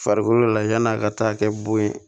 Farikolo la yann'a ka taa kɛ bon ye